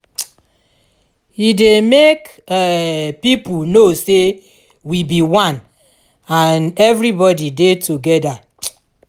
um e dey mek um pipo no say we bi one and evribodi dey togeda um